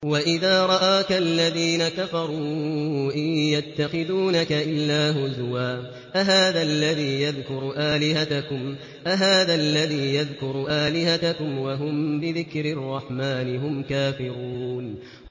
وَإِذَا رَآكَ الَّذِينَ كَفَرُوا إِن يَتَّخِذُونَكَ إِلَّا هُزُوًا أَهَٰذَا الَّذِي يَذْكُرُ آلِهَتَكُمْ وَهُم بِذِكْرِ الرَّحْمَٰنِ هُمْ كَافِرُونَ